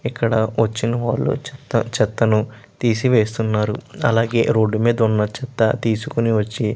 ఇక్క్కడ కురుచి మేధా వున్నా చెత్త ని తెసి వేస్తునారు అలాగే రోడ్ మెద్ద వున్నా చేత తేసుకొని వచ్చి--